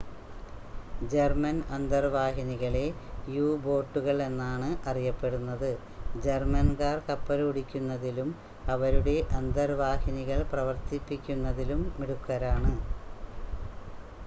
German അന്തർവാഹിനികളെ യു-ബോട്ടുകൾ എന്നാണ് അറിയപ്പെടുന്നത് ജർമ്മൻകാർ കപ്പലോടിക്കുന്നതിലും അവരുടെ അന്തർവാഹിനികൾ പ്രവർത്തിപ്പിക്കുന്നതിലും മിടുക്കരാണ്